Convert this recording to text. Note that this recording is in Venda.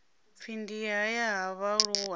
pfi ndi haya ha vhaaluwa